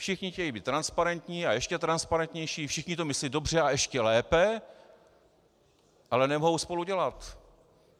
Všichni chtějí být transparentní a ještě transparentnější, všichni to myslí dobře a ještě lépe, ale nemohou spolu dělat.